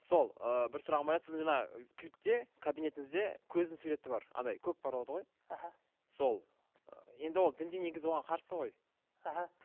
сол ыыы бір сұрағым бар еді сіз жаңа клипте кабинетіңізде көздің суреті бар андай көк болады ғой іхі сол ы енді ол дінде негізі оған қарсы ғой іхі